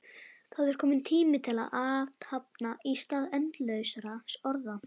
Það er kominn tími til athafna í stað endalausra orða.